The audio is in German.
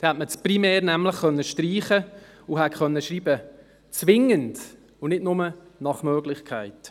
Dann hätte man das «primär» nämlich streichen und «zwingend» schreiben können, nicht nur «nach Möglichkeit».